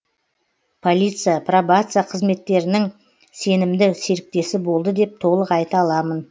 полиция пробация қызметтерінің сенімді серіктесі болды деп толық айта аламын